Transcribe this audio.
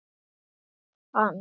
Allt hans.